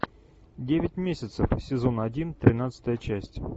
девять месяцев сезон один тринадцатая часть